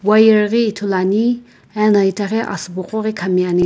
wire ghi ithuluani ena itaghi asübo qoghi khami ani.